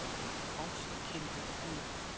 Ást, kynlíf og hjónaband